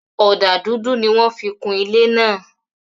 Ọdà dúdú ni wọn fí kún ilẹ̀ ná.